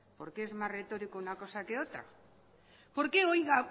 porque es más retórico una cosa que otra por qué